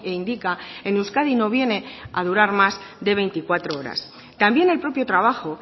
indica en euskadi no viene a durar más de veinticuatro horas también el propio trabajo